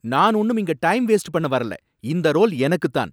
நான் ஒன்னும் இங்க டைம் வேஸ்ட் பண்ண வரல, இந்த ரோல் எனக்கு தான்.